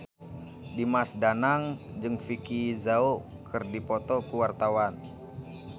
Dimas Danang jeung Vicki Zao keur dipoto ku wartawan